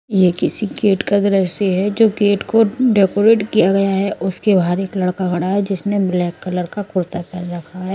यह किसी गेट का दृश्य है जो गेट को डेकोरेट किया गया है। उसके बाहर एक लड़का खड़ा है। जिसने ब्लैक कलर का कुर्ता पहन रखा है।